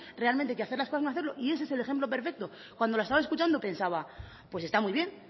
realmente que hacer las cosas no hacerlo y ese es el ejemplo perfecto cuando la estaba escuchando pensaba pues está muy bien